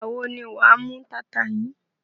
Ìgbà wo ni wà á mú taata yìí?